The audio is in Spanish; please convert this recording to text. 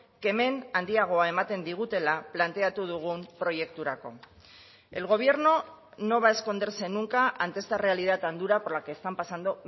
kemen handiagoa ematen digutela planteatu dugun proiekturako el gobierno no va a esconderse nunca ante esta realidad tan dura por la que están pasando